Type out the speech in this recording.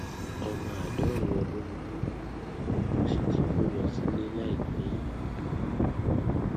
omo àádọrin ọdún ni mí mo sì ti kó lọ sílé láìpẹ yìí